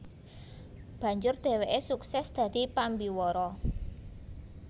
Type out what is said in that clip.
Banjur dheweke sukses dadi pambiwara